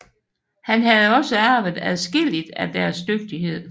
Han havde også arvet adskilligt af deres dygtighed